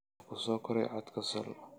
oo ku soo koray codka sol